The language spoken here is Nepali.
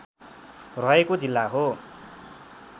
रहेको जिल्ला हो